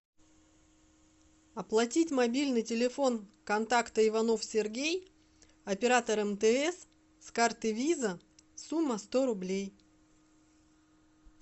оплатить мобильный телефон контакта иванов сергей оператор мтс с карты виза сумма сто рублей